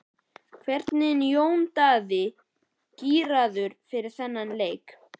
Hvernig er Jón Daði gíraður fyrir þann leik?